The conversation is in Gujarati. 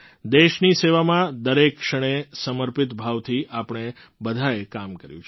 દેશની સેવામાં દરેક ક્ષણે સમર્પિત ભાવથી આપણે બધાએ કામ કર્યું છે